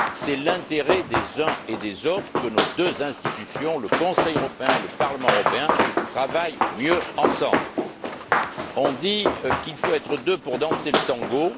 C'est l'intérêt des uns et des autres que nos deux institutions, le Conseil européen et le Parlement européen, travaillent mieux ensemble. On dit qu'il faut être deux pour danser le tango.